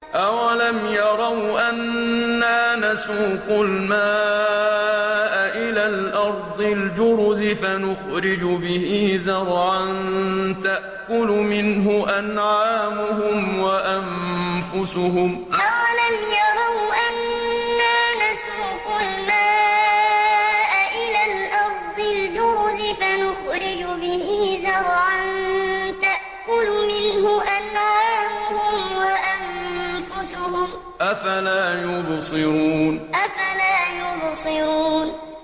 أَوَلَمْ يَرَوْا أَنَّا نَسُوقُ الْمَاءَ إِلَى الْأَرْضِ الْجُرُزِ فَنُخْرِجُ بِهِ زَرْعًا تَأْكُلُ مِنْهُ أَنْعَامُهُمْ وَأَنفُسُهُمْ ۖ أَفَلَا يُبْصِرُونَ أَوَلَمْ يَرَوْا أَنَّا نَسُوقُ الْمَاءَ إِلَى الْأَرْضِ الْجُرُزِ فَنُخْرِجُ بِهِ زَرْعًا تَأْكُلُ مِنْهُ أَنْعَامُهُمْ وَأَنفُسُهُمْ ۖ أَفَلَا يُبْصِرُونَ